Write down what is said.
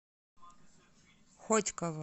хотьково